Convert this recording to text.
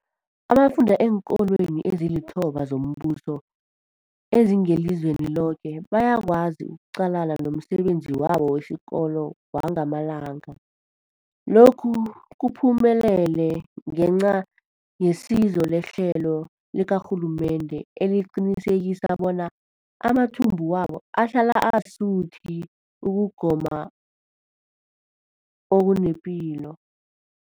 Abafunda eenkolweni ezilithoba zombuso ezingelizweni loke bayakwazi ukuqalana nomsebenzi wabo wesikolo wangamalanga. Lokhu kuphumelele ngenca yesizo lehlelo likarhulumende eliqinisekisa bona amathumbu wabo ahlala asuthi ukugoma okunepilo.